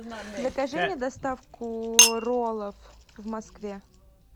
закажи мне доставку роллов в москве